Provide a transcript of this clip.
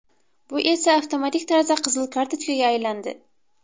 Bu esa avtomatik tarzda qizil kartochkaga aylandi.